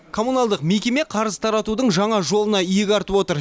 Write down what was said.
коммуналдық мекеме қарыз таратудың жаңа жолына иек артып отыр